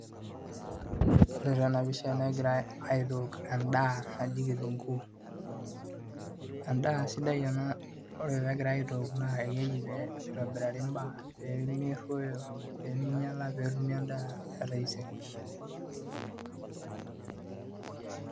Ore taa ena pisha negirai aitook endaa naji kitunguu, endaa sidai oleng' ore pee egirai aitook naa keji pee itobirari imbaa pee merruoyo pee minyiala pee etumi endaa etaisere.